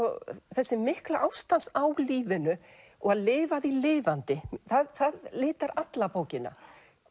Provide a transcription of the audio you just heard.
þessi mikla ást hans á lífinu og að lifa því lifandi það litar alla bókina